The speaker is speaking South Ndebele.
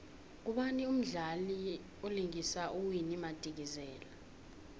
ngubani umdlali vlingisa uwinnie madikizela